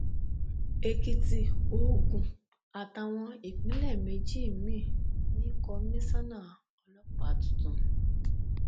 èkìtì ogun àtàwọn ìpínlẹ méjì míín ní kọmísánná ọlọpàá tuntun